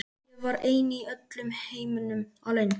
Ég var ein í öllum heiminum, alein.